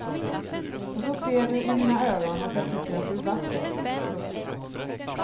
Och så ser du i mina ögon att jag tycker att du är vacker. punkt